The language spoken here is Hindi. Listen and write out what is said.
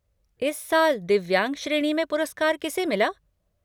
इस साल दिव्यांग श्रेणी में पुरस्कार किसे मिला?